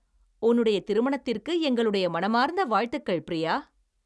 உன்னுடைய திருமணத்திற்கு எங்களுடைய மனமார்ந்த வாழ்த்துகள், பிரியா.